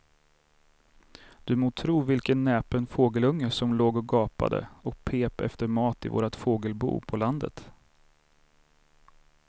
Du må tro vilken näpen fågelunge som låg och gapade och pep efter mat i vårt fågelbo på landet.